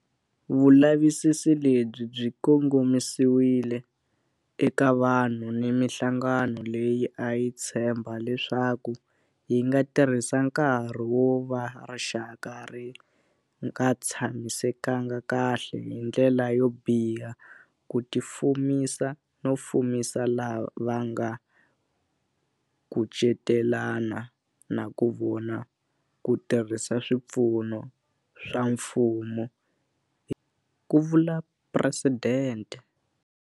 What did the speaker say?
Vulavisisi lebyi byi kongomisiwe eka vanhu ni mihlangano leyi a yi tshemba leswaku yi nga tirhisa nkarhi wo va rixaka ri nga tshamisekanga kahle hi ndlela yo biha ku tifumisa no fumisa lava va nga kucetelana na vona ku tirhisa swipfuno swa mfumo, ku vula Presidente.